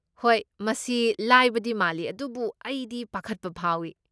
ꯍꯣꯏ, ꯃꯁꯤ ꯂꯥꯏꯕꯗꯤ ꯃꯥꯜꯂꯤ ꯑꯗꯨꯕꯨ ꯑꯩꯗꯤ ꯄꯥꯈꯠꯄ ꯐꯥꯎꯏ꯫